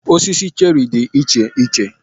Osisi cherrị dị iche iche